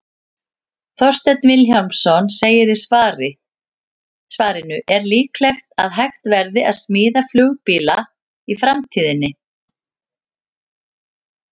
Þorsteinn Vilhjálmsson segir í svarinu Er líklegt að hægt verði að smíða flugbíla í framtíðinni?